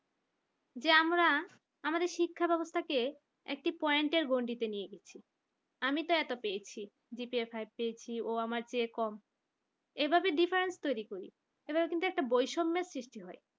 যে আমরা আমাদের শিক্ষা ব্যবস্থাকে একটি পয়েন্ট এর গন্ডিতে নিয়ে গেছি আমি তো এত পেয়েছি দ্বিতীয় ও আমার চেয়ে কম এইভাবে different তৈরি করি এবার কিন্তু একটা বৈষম্যর সৃষ্টি হয়